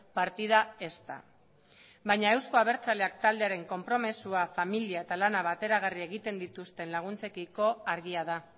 partida ezta baina euzko abertzaleak taldearen konpromisoa familia eta lana bateragarri egiten dituzten laguntzekiko argia da